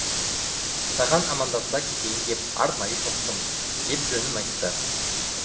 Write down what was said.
саған амандаса кетейін деп арнайы соқтым деп жөнін айтты